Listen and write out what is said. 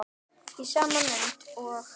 Í sama mund og